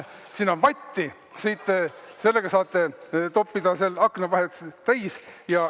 Siin on vatti, sellega saate toppida aknavahed täis.